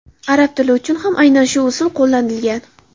Arab tili uchun ham aynan shu usul qo‘llanilgan.